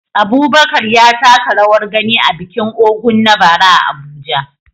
Abubakar ya taka rawar gani a bikin Ògún na bara a Abuja.